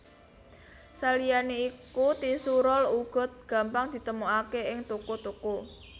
Saliyané iku tisu rol uga gampang ditemokaké ing toko toko